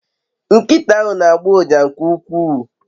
Nkita ahu n'agbo uja nke uwkwuu